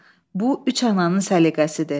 Bu üç ananın səliqəsidir.